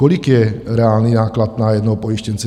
Kolik je reálný náklad na jednoho pojištěnce?